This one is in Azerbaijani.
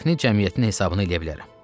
Dəfnə cəmiyyətini hesaba eləyə bilərəm.